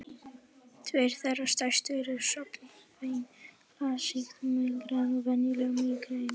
Tveir þeirra stærstu eru svonefnt klassískt mígreni og venjulegt mígreni.